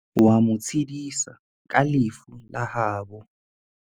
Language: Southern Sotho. O a mo tshedisa ka lefu la habo.